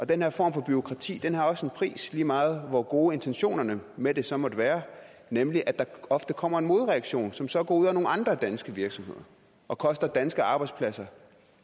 den her form for bureaukrati har også en pris lige meget hvor gode intentionerne med det så måtte være nemlig at der ofte kommer en modreaktion som så går ud over nogle andre danske virksomheder og koster danske arbejdspladser